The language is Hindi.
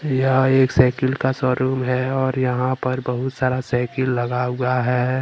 यह एक साइकिल का शोरूम है और यहां पर बहुत सारा साइकिल लगा हुआ है।